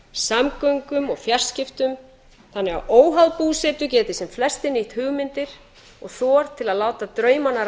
samgöngum og fjarskiptum þannig að óháð búsetu geti sem flestir nýtt hugmyndir og þor til að láta draumana